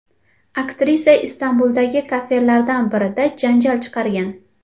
Aktrisa Istanbuldagi kafelardan birida janjal chiqargan.